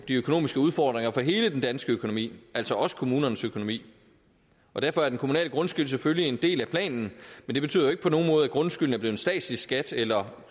de økonomiske udfordringer for hele den danske økonomi altså også kommunernes økonomi derfor er den kommunale grundskyld selvfølgelig en del af planen men det betyder ikke på nogen måde at grundskylden er blevet en statslig skat eller